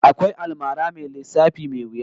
Akwai almara mai lissafi mai wuya